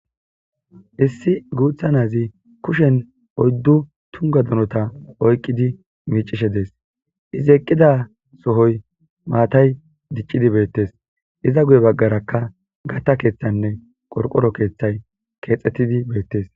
Issi guutha nazi kushen oyddu tunga donota oyqqidi miicishe dees izi eqqida sohoy maatay diccidi beettes iza guye baggarakka gatta keeththanne qorqoro keeththay keexxettidi beettes.